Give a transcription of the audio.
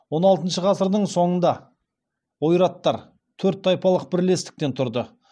он алтыншы ғасырдың соңында ойраттар төрт тайпалық бірлестіктен тұрды